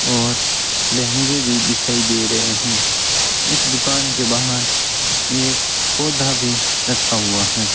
और लहंगे भी दिखाई दे रहे हैं इस दुकान के बाहर एक पौधा भी रखा हुआ है।